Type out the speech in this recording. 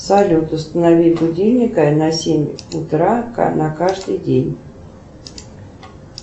салют установи будильник на семь утра на каждый день